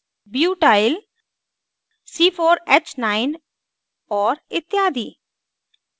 butyl butyl c4h9 और इत्यादि